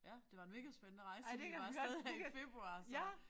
Ja det var en mega spændende rejse fordi vi var af sted her i februar så